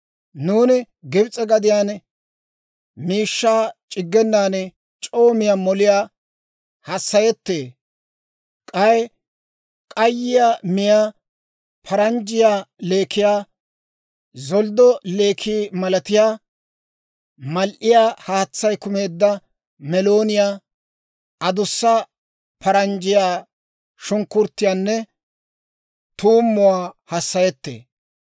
Nuuni Gibs'e gadiyaan miishshaa c'iggenan c'oo miyaa moliyaa hassayeetto; k'ay k'ayiyaa miyaa paranjjiyaa leekiyaa, zolddo leekiyaa malatiyaa mal"iyaa haatsay kumeedda meelooniyaa, adussa paranjjiyaa sunk'k'uruttiyaanne tuumuwaa hassayeetto.